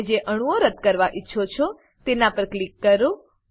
તમે જે અણુઓ રદ્દ કરવા ઈચ્છો છો તેના પર ક્લિક કરો